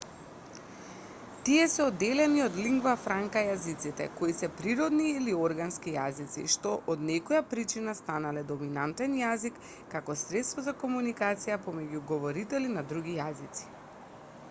тие се одделени од лингва франка јазиците кои се природни или органски јазици што од некоја причина станале доминантен јазик како средство за комуникација помеѓу говорители на други јазици